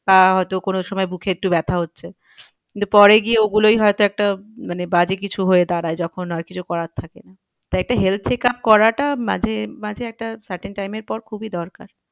আহ হয় তো কোনো সময় বুকে একটু ব্যাথা হচ্ছে। কিন্তু পরে গিয়ে ও গুলোই হয় তো একটা মানে বাজে কিছু হয়ে দাঁড়ায় যখন আর কিছু করার থাকে না। তাই একটু health check up করাটা মাঝে মাঝে একটা time এর পর খুবই দরকার।